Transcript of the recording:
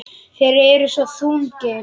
Þeir eru svo þungir.